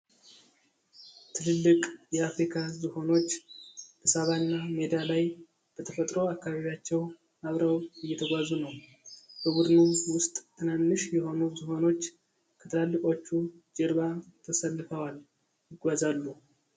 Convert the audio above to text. ትልልቅ የአፍሪካ ዝሆኖች በሳቫና ሜዳ ላይ በተፈጥሮ አካባቢያቸው አብረው እየተጓዙ ነው። በቡድኑ ውስጥ ትናንሽ የሆኑ ዝሆኖች ከትላልቆቹ ጀርባ ተሰልፈዋል ይጓዛሉ።